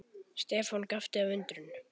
Stefán gapti af undrun.